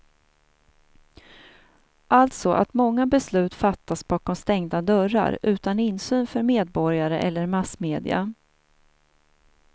Alltså att många beslut fattas bakom stängda dörrar utan insyn för medborgare eller massmedia.